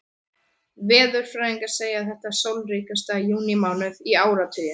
Veðurfræðingar segja þetta sólríkasta júnímánuð í áratugi.